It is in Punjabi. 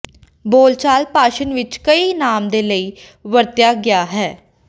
ਬੋਲਚਾਲ ਭਾਸ਼ਣ ਵਿਚ ਕਈ ਨਾਮ ਦੇ ਲਈ ਵਰਤਿਆ ਗਿਆ ਹੈ